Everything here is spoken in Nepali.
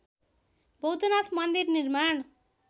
बौद्धनाथ मन्दिर निर्माण